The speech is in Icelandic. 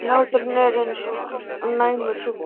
En hláturinn er eins og næmur sjúkdómur.